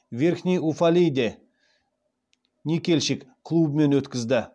верхний уфалейде никельщик клубымен өткізді